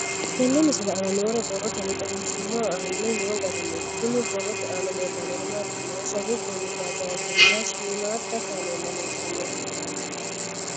Tenne misile aana noore borroteni xawiseemohu aane noo gariniiti. Kunni borrote aana leelanori maati yiniro sasu goomi baajaajena shiimadda kaamella leeltanoe.